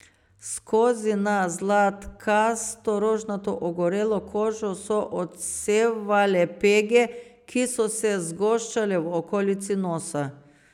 Skozi na zlatkasto rožnato ogorelo kožo so odsevale pege, ki so se zgoščale v okolici nosa.